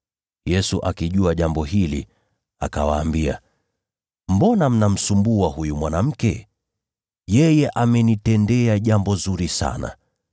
Yesu, akijua jambo hili, akawaambia, “Mbona mnamsumbua huyu mwanamke? Yeye amenitendea jambo zuri sana.